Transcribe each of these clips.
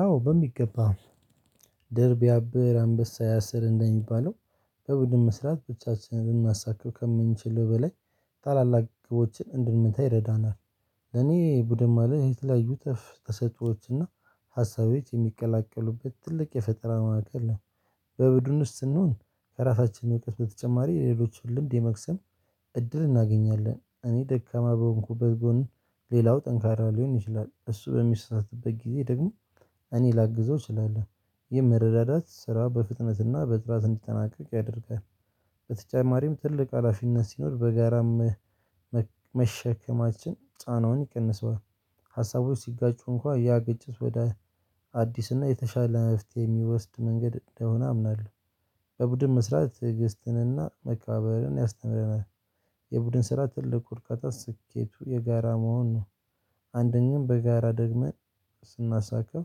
አዎ በሚገባ ድር ቢያብር አንበሳ ያስር እንደሚባለው በቡድን መስራት ብቻችንን ልናሳካው ከምንችልው በላይ ታላላቅ ግቦችን እንድንመታ ይረዳናል። ለኔ ቡድን ማለት የተለያዩ ተፍ ተሰጥኦዎች እና ሀሳቤዎች የሚቀላቀሉበት ትልቅ የፈጠራ ማዕቀብ ነው። በቡድን ውስጥ ስንሆን ከራሳችን እውቀት በተጨማሪ ሌሎችን ልምድ የመክሰም እድል እናገኛለን። እኔ ደካማ በሆንኩበት ጎን ሌላው ጠንካራ ሊሆን ይችላል። እሱ በሚስተሳሰትበት ጊዜ ደግሞ እኔ ላግዘው እችላለሁ። ይህ መረዳዳት ስራ በፍጥነትና በጥላት እንዲጠናቀቅ ያደርጋል። በተጨማሪም ትልቅ ሀላፊነት ሲኖር በጋራም መሸከማችን ጫናውን ይቀንሰዋል። ሀሳቦች ሲጋጩ እንኳን ያ ግጭት ወደ አዲስ እና የተሻለ መፍትሄ የሚወስድ መንገድ እንደሆነ አምናለሁ። በቡድን መስራት ትግስትንና መከባበርን ያስተምረናል። የቡድን ስራ ትልቅ አርካታ ስኬቱ የጋራ መሆን ነው። አንደኛም በጋራ ደግመን ስናሳካው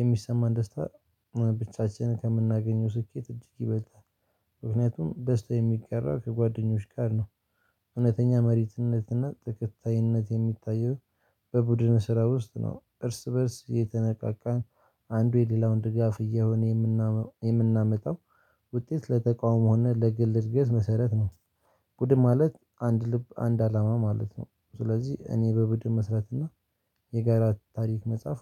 የሚሰማን ደስታ ብቻችንን ከምናገኘው ስኬት እጅግ ይበልጣል። ምክንያቱም ደስታ የሚቀራ ከጓደኞች ጋር ነው። እውነተኛ መሪትነትና ተከታይነት የሚታየው። በቡድነ ስራ ውስጥ ነው። እርስ በእርስ የተነቃቃን አንዱ የሌላውን ድጋፍ እየሆነ የምናመጣው ውጤት ለተቃውሞነት ለግል እድገት መሰረት ነው። ቡድምን ማለት አንድ ልብ አንድ አላማ ማለት ነው። ስለዚህ እኔ በቡድን መስራት እና የጋራ ታሪክ መጽሐፍ